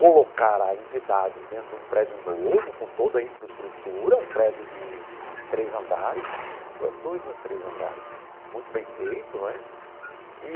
colocar a entidade dentro de um prédio novo, com toda a infraestrutura, um prédio de três andares, ou dois ou é três andares, muito bem feito, não é?